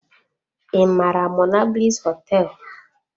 I mara monablis họteelụ?